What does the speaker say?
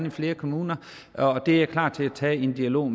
i flere kommuner og det er jeg klar til at tage en dialog